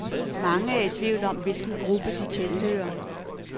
Mange er i tvivl om, hvilken gruppe de tilhører.